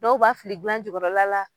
Dɔw b'a fili dilan jukɔrɔla la